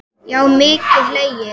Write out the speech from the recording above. Já og mikið hlegið.